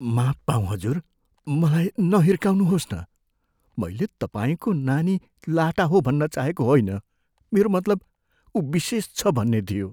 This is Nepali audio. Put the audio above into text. माफ पाऊँ हजुर, मलाई नहिर्काउनुहोस् न। मैल तपाईँको नानी लाटा हो भन्न चाहेको होइन। मेरो मतलब ऊ विशेष छ भन्ने थियो।